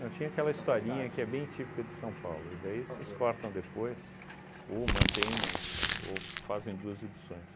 Eu tinha aquela historinha que é bem típica de São Paulo, e daí vocês cortam depois, ou mantém mas, ou fazem duas edições.